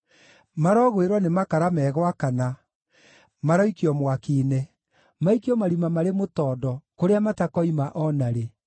Marogwĩrwo nĩ makara me gwakana; maroikio mwaki-inĩ, maikio marima marĩ mũtondo, kũrĩa matakoima o na rĩ.